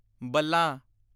ਬਲਾਂ